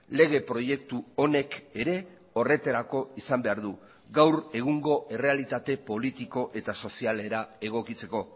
lege proiektu honek ere horretarako izan behar du gaur egungo errealitate politiko eta sozialera egokitzeko